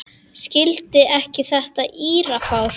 Skildi ekki þetta írafár.